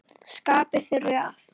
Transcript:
Skarpi þurfi að.